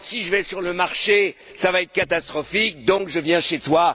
Si je vais sur le marché, cela va être catastrophique, je viens donc chez toi.